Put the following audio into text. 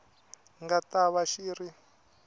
nga ta va xi ri